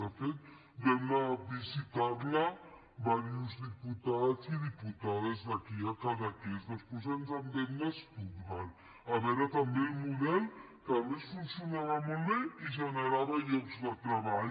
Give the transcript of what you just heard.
de fet vam anar a visitar la diversos diputats i diputades d’aquí a cadaqués després vam anar a stuttgart a veure’n també el model que a més funcionava molt bé i generava llocs de treball